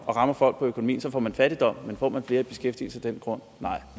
rammer folk på økonomien så får man fattigdom men får man flere i beskæftigelse af den grund nej